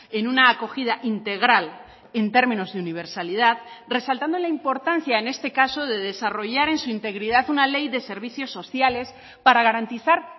en una acogida integral en términos de universalidad resaltando la importancia en este caso de desarrollar en su integridad una ley de servicios sociales para garantizar